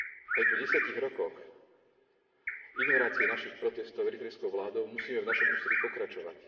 Aj po 10 rokoch ignorácie našich protestov eritrejskou vládou musíme v našom úsilí pokračovať.